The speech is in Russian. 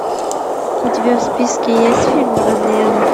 у тебя в списке есть фильм родные руки